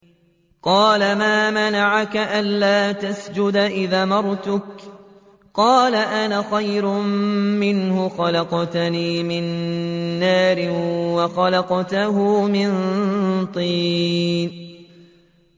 قَالَ مَا مَنَعَكَ أَلَّا تَسْجُدَ إِذْ أَمَرْتُكَ ۖ قَالَ أَنَا خَيْرٌ مِّنْهُ خَلَقْتَنِي مِن نَّارٍ وَخَلَقْتَهُ مِن طِينٍ